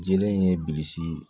Jele in ye bilisi